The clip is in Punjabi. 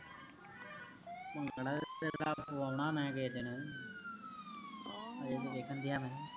ਭੰਗੜਾ ਤਾ ਤੇਰਾ ਪਵੋਊਣਾ ਮੈਂ ਕਿਸੇ ਦਿਨ ਓਹੋ ਅਜੇ ਤਾ ਵੇਖਣ ਦਯਾ ਮੈਂ